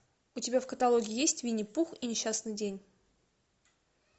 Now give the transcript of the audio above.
у тебя в каталоге есть винни пух и несчастный день